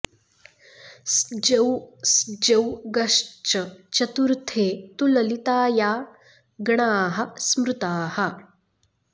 स्जौ स्जौ गश्च चतुर्थे तु ललिताया गणाः स्मृताः